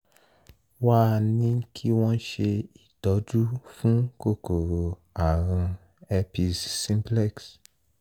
wá a ní kí wọ́n ṣe ìtọ́jú fún kòkòrò àrùn herpes simplex